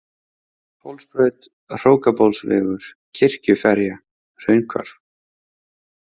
Hólsbraut, Hrókabólsvegur, Kirkjuferja, Hraunhvarf